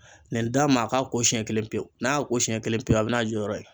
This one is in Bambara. Nin d'a ma a k'a ko siɲɛ kelen pewu n'a y'a ko siɲɛ kelen pewu a bi n'a jɔyɔrɔ ye.